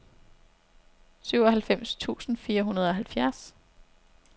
syvoghalvfems tusind fire hundrede og halvfjerds